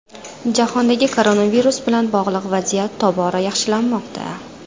Jahondagi koronavirus bilan bog‘liq vaziyat tobora yaxshilanmoqda.